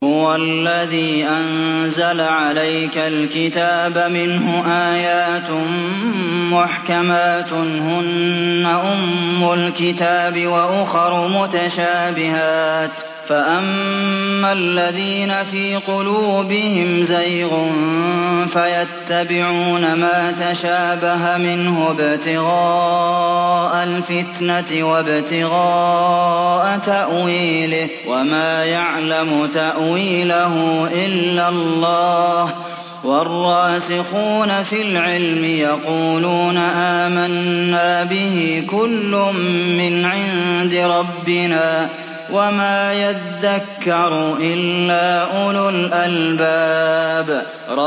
هُوَ الَّذِي أَنزَلَ عَلَيْكَ الْكِتَابَ مِنْهُ آيَاتٌ مُّحْكَمَاتٌ هُنَّ أُمُّ الْكِتَابِ وَأُخَرُ مُتَشَابِهَاتٌ ۖ فَأَمَّا الَّذِينَ فِي قُلُوبِهِمْ زَيْغٌ فَيَتَّبِعُونَ مَا تَشَابَهَ مِنْهُ ابْتِغَاءَ الْفِتْنَةِ وَابْتِغَاءَ تَأْوِيلِهِ ۗ وَمَا يَعْلَمُ تَأْوِيلَهُ إِلَّا اللَّهُ ۗ وَالرَّاسِخُونَ فِي الْعِلْمِ يَقُولُونَ آمَنَّا بِهِ كُلٌّ مِّنْ عِندِ رَبِّنَا ۗ وَمَا يَذَّكَّرُ إِلَّا أُولُو الْأَلْبَابِ